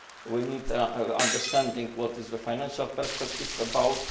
We need to understand what the financial perspective is